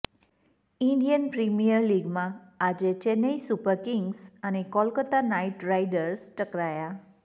Indian Premier લીગમાં આજે Chennai Super Kings અને કોલકાતા નાઇટ રાઇડર્સ ટકરાયા